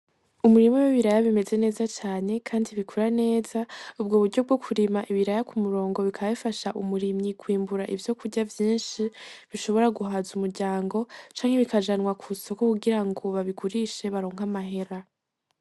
Umurima w'ibiraya bimeze neza cane kandi bikura neza, ubwo buryo bwokurima ibiraya k'umurongo bikaba bifasha umurimyi kwimbura ivyokurya vyinshi, bishobora guhaza umuryango canke bikajanwa kw'isoko kugirango babigurishe baronke amahera.